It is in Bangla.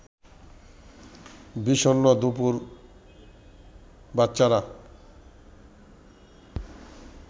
বিষণ্ন দুপুর বাচ্চারা